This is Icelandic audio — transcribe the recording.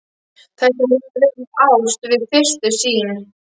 Þetta hefur verið ást við fyrstu sýn.